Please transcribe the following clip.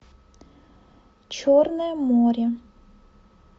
черное море